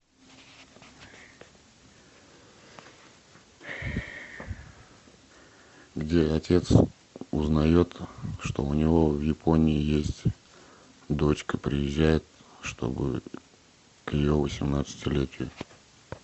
где отец узнает что у него в японии есть дочка приезжает чтобы к ее восемнадцатилетию